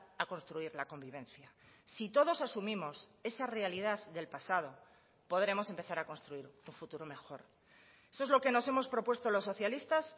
a construir la convivencia si todos asumimos esa realidad del pasado podremos empezar a construir un futuro mejor eso es lo que nos hemos propuesto los socialistas